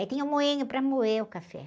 Aí tinha o moinho para moer o café.